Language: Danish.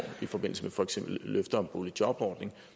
i forbindelse med for eksempel løfter om boligjobordning